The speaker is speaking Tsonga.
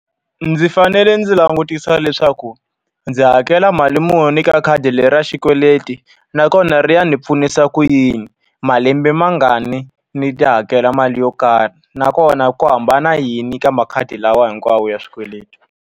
Ndzi fanele ndzi langutisa leswaku ndzi hakela mali muni ka khadi leri ra xikweleti. Nakona ri ya ni pfunisa ku yini, malembe ma ngani ni ta hakela mali yo karhi. Nakona ku hambana yini ka makhadi lawa hinkwawo ya swikweleti.